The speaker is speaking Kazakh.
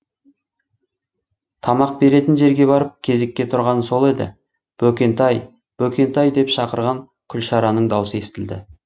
тамақ беретін жерге барып кезекке тұрғаны сол еді бөкентай бөкентай деп шақырған күлшараның даусы естілді